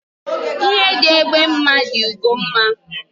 Ihe dị egbe mma dị ugo mma